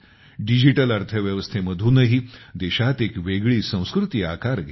digital अर्थव्यवस्थेमधूनही देशात एक वेगळी संस्कृती आकार घेत आहे